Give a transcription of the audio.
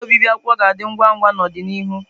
Igwe obibi akwụkwọ ga-adị ngwa ngwa n'ọdịnihu.